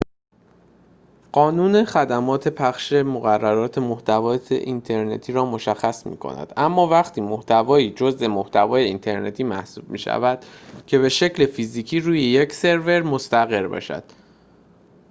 قانون خدمات پخش مقررات محتوای اینترنتی را مشخص می‌کند اما وقتی محتوایی جزء محتوای اینترنتی محسوب می‌شود که به‌شکل فیزیکی روی یک سرور مستقر باشد